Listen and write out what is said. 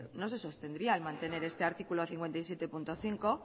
no se sostendría el mantener este artículo cincuenta y siete punto cinco